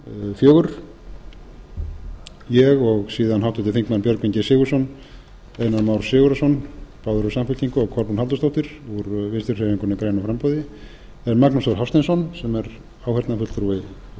fjögur ég og síðan háttvirtir þingmenn björgvin g sigurðsson einar már sigurðarson báðir úr samfylkingu og kolbrún halldórsdóttir úr vinstri hreyfingunni gær framboði en magnús þór hafsteinsson sem er áheyrnarfulltrúi